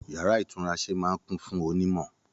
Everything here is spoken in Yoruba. Yàrá itunrase máa n kún fún ọ onimọ.